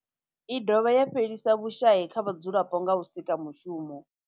I dovha ya thusa u fhelisa vhushayi kha vhadzulapo nga u sika mishumo.